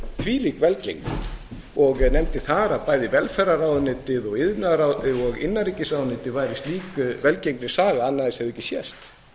þvílík velgengni og nefndi þar að bæði velferðarráðuneytið og innanríkisráðuneytið væri slík velgengnissaga að annað eins hefði ekki sést